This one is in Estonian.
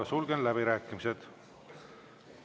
Sulgen läbirääkimised.